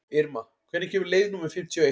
Irma, hvenær kemur leið númer fimmtíu og eitt?